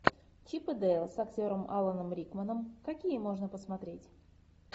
чип и дейл с актером аланом рикманом какие можно посмотреть